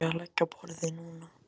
Á ég að leggja á borðið núna?